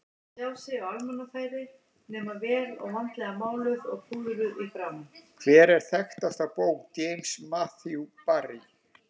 Hver er þekktasta bók James Matthew Barrie?